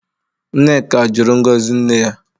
Nneka jụrụ ngozi nne ya.